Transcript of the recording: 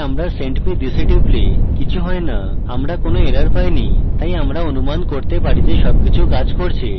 তাই আমরা send me this we টিপলে কিছু has no আমরা কোনো errors পাইনি তাই আমরা অনুমান করতে পারি যে সবকিছু কাজ করছে